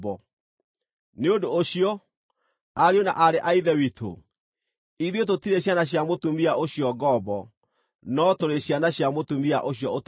Nĩ ũndũ ũcio, ariũ na aarĩ a Ithe witũ, ithuĩ tũtirĩ ciana cia mũtumia ũcio ngombo, no tũrĩ ciana cia mũtumia ũcio ũtarĩ ngombo.